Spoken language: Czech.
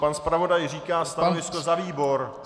Pan zpravodaj říká stanovisko za výbor!